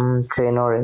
উম train এৰে।